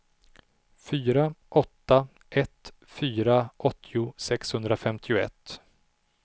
fyra åtta ett fyra åttio sexhundrafemtioett